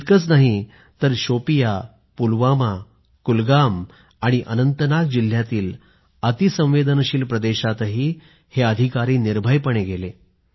इतकंच नाही तर शोपियाँ पुलवामा कुलगाम आणि अनंतनाग जिल्ह्यातील अति संवेदनशील प्रदेशातही अधिकारी निर्भयपणे गेले